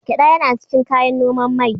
Gyeɗa yana cikin kayan noman mai.